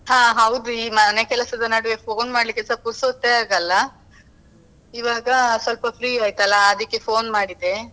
ಹಾ ಹೌದು ಈ ಮನೆ ಕೆಲ್ಸದ ನಡುವೆ phone ಮಾಡ್ಲಿಕ್ಕೆಸ ಪುರ್ಸೊತೇ ಆಗಲ್ಲ, ಈವಾಗ ಸ್ವಲ್ಪ free ಆಯ್ತಲ್ವಾ, ಅದಿಕ್ಕೆ phone ಮಾಡಿದೆ.